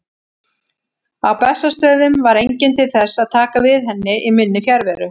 Á Bessastöðum var enginn til þess að taka við henni í minni fjarveru.